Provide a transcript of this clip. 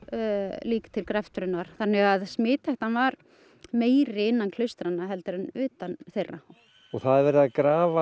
lík til greftrunar þannig að smithættan er meiri innan klaustranna heldur en utan þeirra og það er verið að grafa